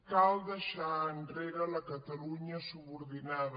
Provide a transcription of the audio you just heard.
cal deixar enrere la catalunya subordinada